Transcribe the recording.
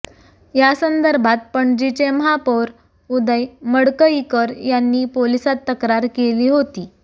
या संदर्भात पणजीचे महापौर उदय मडकईकर यांनी पोलिसात तक्रार केली होती